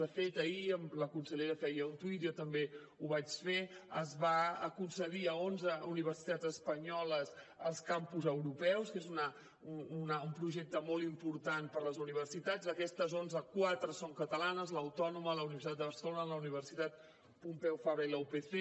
de fet ahir la consellera feia un tuit jo també ho vaig fer es va concedir a onze universitats espanyoles els campus europeus que és un projecte molt important per les universitats d’aquestes onze quatre són catalanes l’autònoma la universitat de barcelona la universitat pompeu fabra i la upc